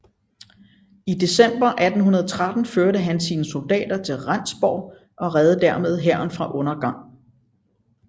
I december 1813 førte han sine soldater til Rendsborg og reddede dermed hæren fra undergang